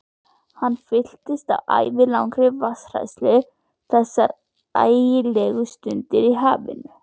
Hann fylltist ævilangri vatnshræðslu þessar ægilegu stundir í hafinu.